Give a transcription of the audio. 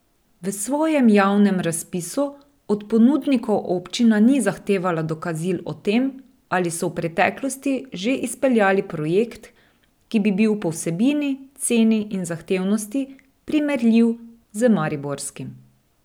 V svojem javnem razpisu od ponudnikov občina ni zahtevala dokazil o tem, ali so v preteklosti že izpeljali projekt, ki bi bil po vsebini, ceni in zahtevnosti primerljiv z mariborskim.